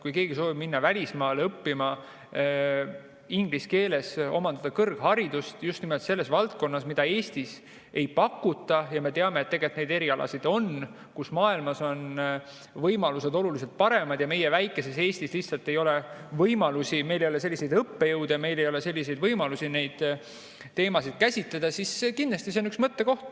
Kui keegi soovib minna välismaale õppima ja inglise keeles omandada kõrgharidust just nimelt selles valdkonnas, kus haridust Eestis ei pakuta – me teame, et neid erialasid on, kus maailmas on võimalused oluliselt paremad ja meie väikeses Eestis lihtsalt ei ole võimalusi, meil ei ole selliseid õppejõude ja meil ei ole selliseid võimalusi teemasid käsitleda –, siis kindlasti on see mõttekoht.